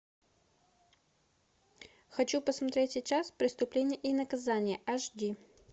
хочу посмотреть сейчас преступление и наказание аш ди